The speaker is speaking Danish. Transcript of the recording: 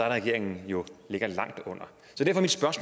at regeringen jo ligger langt under